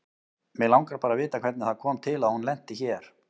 Mig langar bara að vita hvernig það kom til að hún lenti hér.